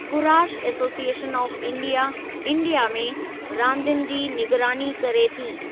Kurash association of India' India में रांदियुनि जे निगरानी करे थी।